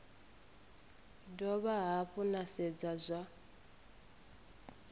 dovha hafhu na sedza zwa